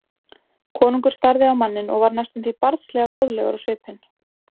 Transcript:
Konungur starði á manninn og varð næstum því barnslega góðlegur á svipinn.